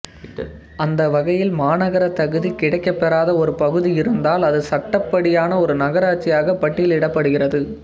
அந்த வகையில் மாநகரத் தகுதி கிடைக்கப் பெறாத ஒரு பகுதி இருந்தால் அது சட்டப்படியான ஒரு நகராட்சியாகப் பட்டியலிடப் படுகிறது